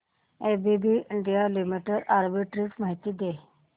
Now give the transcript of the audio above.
ABB India limited arbitrage माहिती दे